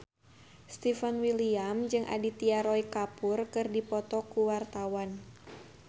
Stefan William jeung Aditya Roy Kapoor keur dipoto ku wartawan